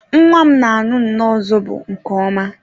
Nwa m na aṅụ nnọọ zobo nke ọma